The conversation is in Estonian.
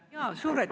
Suur aitäh!